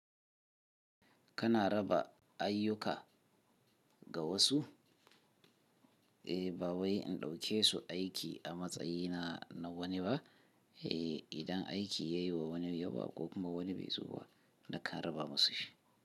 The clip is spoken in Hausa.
Kana raba ayyuka ga wasu? E, ba wai in ɗauke su aiki a matsayina na wani ba. Eh, idan aiki yayiwa wani yawa ko wani bai zo ba nakan raba masu shi.